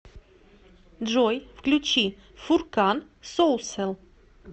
джой включи фуркан соусэл